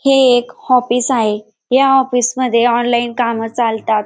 हे एक ऑफिस आहे या ऑफिस मध्ये ऑनलाईन कामं चालतात.